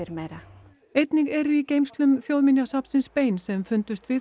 meira einnig eru í geymslum Þjóðminjasafnsins bein sem fundust við